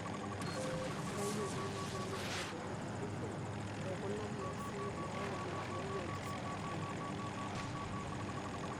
Eitayioki nkoitoi naitodolu batisho ekuna kiasin naayau enkirowuaj sapuk enkop.